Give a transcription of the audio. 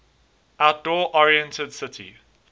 outdoor oriented city